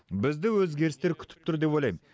бізді өзгерістер күтіп тұр деп ойлайм